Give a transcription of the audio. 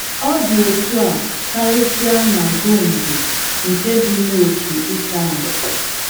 Ọ dị otú a karịsịa na Gondo, nke dị n’ókè Ịtali.